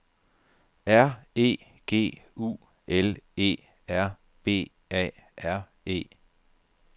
R E G U L E R B A R E